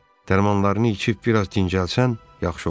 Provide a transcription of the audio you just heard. Dərmanlarını içib bir az dincəlsən, yaxşı olar.